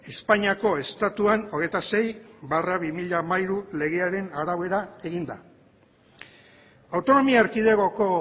espainiako estatuan hogeita sei barra bi mila hamairu legearen arabera egin da autonomia erkidegoko